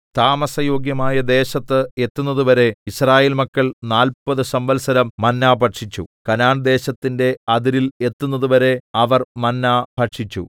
താമസയോഗ്യമായ ദേശത്ത് എത്തുന്നതുവരെ യിസ്രായേൽ മക്കൾ നാല്പത് സംവത്സരം മന്നാ ഭക്ഷിച്ചു കനാൻദേശത്തിന്റെ അതിരിൽ എത്തുന്നതുവരെ അവർ മന്നാ ഭക്ഷിച്ചു